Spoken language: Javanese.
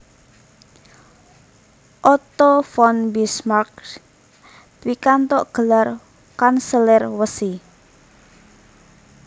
Otto von Bismarck pikantuk gelar Kanselir Wesi